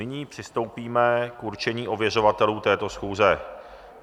Nyní přistoupíme k určení ověřovatelů této schůze.